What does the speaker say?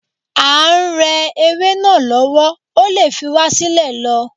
À ń re ewé náà lọ́wọ́, o lè fi wá sílẹ̀ lọ.